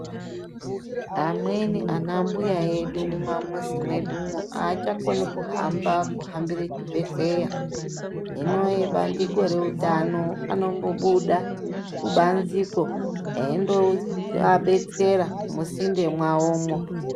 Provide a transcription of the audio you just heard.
Amweni ana mbuya edu, mumamuzi medu umo haachakoni kuhamba, kuhambire chibhedleya. Hinoyi bandiko rehutano anombobuda kubanziko eyindo betsera muzinde mavowomo.